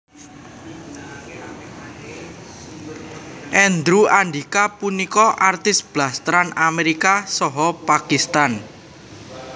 Andrew Andika punika artis blasteran Amérika saha Pakistan